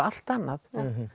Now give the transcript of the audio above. allt annað